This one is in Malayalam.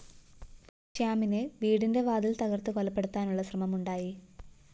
ശ്യാമിനെ വീടിന്റെ വാതില്‍ തകര്‍ത്ത് കൊലപ്പെടുത്താനുള്ള ശ്രമമുണ്ടായി